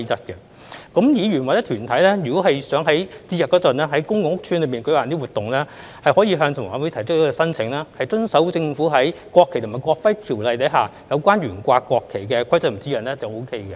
議員或團體如果想於節日內在公共屋邨舉辦一些活動，可以向房委會提出申請，遵守政府在《國旗及國徽條例》下有關懸掛國旗的規則和指引便可以。